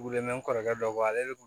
Weele mɛn n'i kɔrɔkɛ dɔ bɔ ale